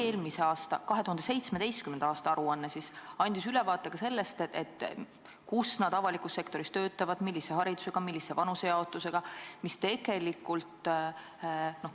Eelmine, 2017. aasta aruanne andis ülevaate ka sellest, kus nad avalikus sektoris töötavad, millise haridusega nad on ja milline on vanuseline jaotus.